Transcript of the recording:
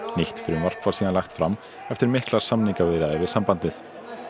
nýtt frumvarp var síðan lagt fram eftir miklar samningaviðræður við sambandið